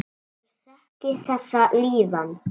Ég þekki þessa líðan.